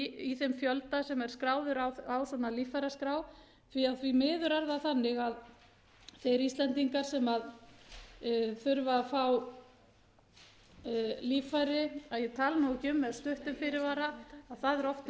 í þeim fjölda sem er skráður á svona líffæraskrá því að því miður er það þannig að þeir íslendingar sem þurfa að fá líffæri að ég tali nú ekki um með stuttum fyrirvara að það er oft um